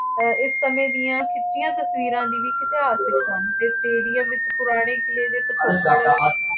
ਅਹ ਇਸ ਸਮੇਂ ਦੀਆਂ ਖਿੱਚੀਆਂ ਤਸਵੀਰਾਂ ਵੀ ਇਤਿਹਾਸਕ ਹਨ ਅਤੇ ਸਟੇਡੀਅਮ ਵਿੱਚ ਪੁਰਾਣੇ ਕਿਲੇ ਦੇ ਪਿਛੋਕੜ